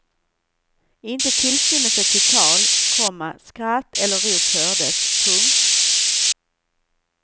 Inte tillstymelse till tal, komma skratt eller rop hördes. punkt